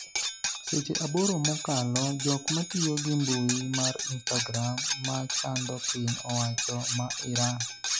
seche aboro mokalo jok matiyo gi mbui mar instagram machando piny owacho ma Iran